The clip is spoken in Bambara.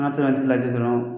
An taara a tigi lajɛ dɔrɔn